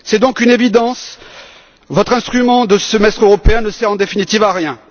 C'est donc une évidence votre instrument de semestre européen ne sert en définitive à rien.